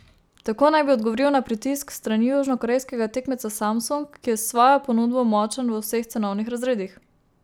Tako naj bi odgovoril na pritisk s strani južnokorejskega tekmeca Samsung, ki je s svojo ponudbo močan v vseh cenovnih razredih.